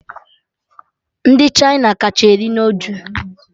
Ndị Chịna kacha eri noodul